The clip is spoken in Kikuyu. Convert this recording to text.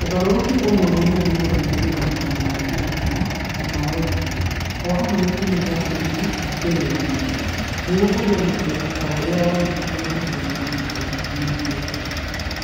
"Ũgarũrũku ũmwe mũnene nĩ gũthuthuria mawatho ma gĩthurano na ma ũgitĩri. O hamwe na itemi rĩa borithi gĩthurano-inĩ. Nĩguo kũgĩe na ũndũ ta ũrĩa wonekire hĩndĩ ya ithurano kahinda kanini kahĩtũku.